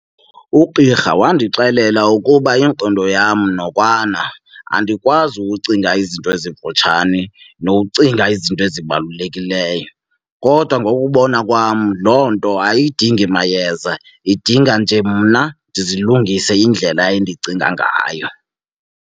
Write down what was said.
Ugqirha wandixelela ukuba ingqondo yam nokwana andikwazi ukucinga izinto ezimfutshane nokucinga izinto ezibalulekileyo, kodwa ngokubona kwam loo nto ayidingi mayeza idinga nje mna ndizilungise indlela endicinga ngayo.